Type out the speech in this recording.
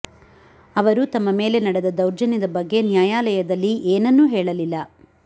ಅವರು ತಮ್ಮ ಮೇಲೆ ನಡೆದ ದೌರ್ಜನ್ಯದ ಬಗ್ಗೆ ನ್ಯಾಯಾಲಯದಲ್ಲಿ ಏನನ್ನೂ ಹೇಳಲಿಲ್ಲ